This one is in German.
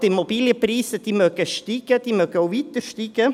Ja, die Immobilienpreise mögen steigen, sie mögen auch weiter steigen.